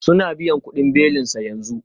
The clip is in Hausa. Suna biyan kudin belinsa yanzu